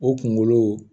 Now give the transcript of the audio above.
O kunkolo